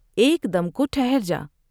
ایک دم کو ٹھہر جا ۔